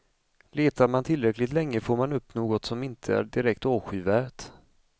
Letar man tillräckligt länge får man upp något som inte är direkt avskyvärt.